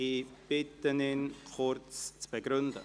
Ich bitte ihn, diesen kurz zu begründen.